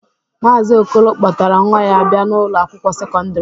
Maazi Okolo kpọtara nwa ya bịa n'Ụlọ akwụkwọ sekọndrị.